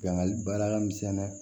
Yangali baara ka misɛn dɛ